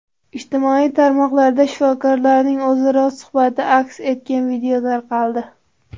Ijtimoiy tarmoqlarda shifokorlarning o‘zaro suhbati aks etgan video tarqaldi .